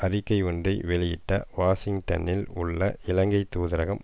அறிக்கை ஒன்றை வெளியிட்ட வாஷிங்டனில் உள்ள இலங்கை தூதரகம்